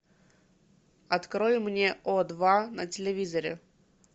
открой мне о два на телевизоре